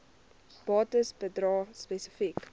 bates bedrae spesifiek